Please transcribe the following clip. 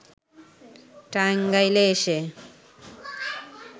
টাঙ্গাইলে এসে